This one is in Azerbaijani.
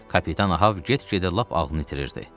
Kapitan Ahab get-gedə lap ağlını itirirdi.